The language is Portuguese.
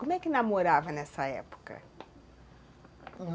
Como é que namorava nessa época?